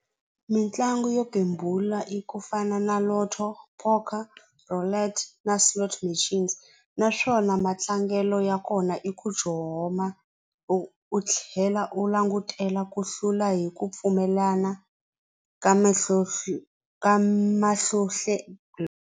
Mitlangu yo gembula i ku fana na Lotto, Poca na slot machines naswona matlangelo ya kona i ku u tlhela u langutela ku hlula hi ku pfumelana ka ka .